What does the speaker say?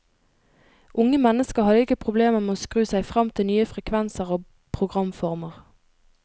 Unge mennesker hadde ikke problemer med å skru seg fram til nye frekvenser og programformer.